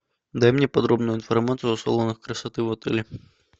дай мне подробную информацию о салонах красоты в отеле